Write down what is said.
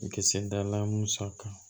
U kisɛ dala musa kan